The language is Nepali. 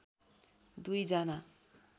दुई जना